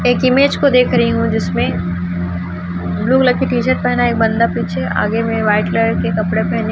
एक इमेज को देख रही हूं जिसमें ब्लू कलर की टी शर्ट पहना एक बंदा पीछे आगे में वाइट कलर के कपड़े पहने --